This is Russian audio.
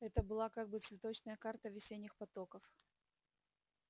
это была как бы цветочная карта весенних потоков